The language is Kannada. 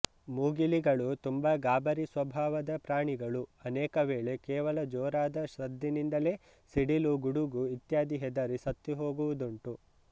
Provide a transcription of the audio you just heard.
ಮೂಗಿಲಿಗಳು ತುಂಬ ಗಾಬರಿ ಸ್ವಭಾವದ ಪ್ರಾಣಿಗಳು ಅನೇಕವೇಳೆ ಕೇವಲ ಜೋರಾದ ಸದ್ದಿನಿಂದಲೇ ಸಿಡಿಲು ಗುಡುಗು ಇತ್ಯಾದಿ ಹೆದರಿ ಸತ್ತುಹೋಗುವುದುಂಟು